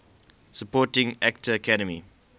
supporting actor academy